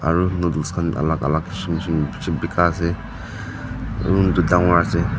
aru noodles khan alak alak kishim kishim bishi buka ase aro dangor ase.